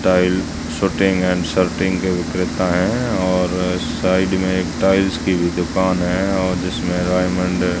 style suiting and shirting के विक्रेता है और साइड में एक टाइल्स की भी दुकान है और जिसमें डायमंड --